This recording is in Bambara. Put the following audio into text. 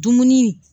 Dumuni